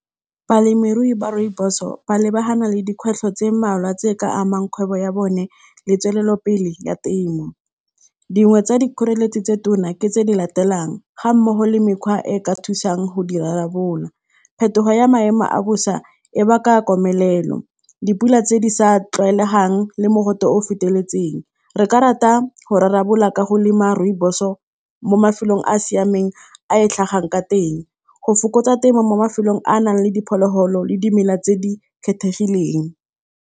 Balemirui ba rooibos-o ba lebagana le dikgwetlho tse mmalwa tse di ka amang kgwebo ya bone le tswelopele ya temo, dingwe tsa dikgoreletsi tse di tona ke tse di latelang ga mmogo le mekgwa e e ka thusang go di rarabolola, phetogo ya maemo a bosa e baka komelelo, dipula tse di sa tlwaelegang le mogote o o feteletseng, re ka rata go rarabolola ka go lema rooibos-o mo mafelong a a siameng a e tlhagang ka teng, le go fokotsa temo mo mafelong a a nang le diphologolo le dimela tse di kgethegileng.